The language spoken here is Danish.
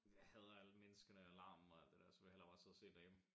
Jeg hader alle menneskerne og laRmen og alt det dér så vil jeg heller bare sidde og se det derhjemme